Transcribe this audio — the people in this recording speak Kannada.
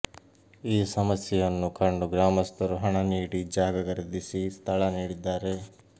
ಈ ಸಮಸ್ಯೆಯನ್ನು ಕಂಡು ಗ್ರಾಮಸ್ಥರು ಹಣ ನೀಡಿ ಜಾಗ ಖರೀದಿಸಿ ಸ್ಥಳ ನೀಡಿದ್ದಾರೆ